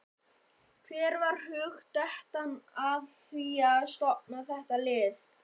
Hver varð hugdettan að því að stofna þetta lið?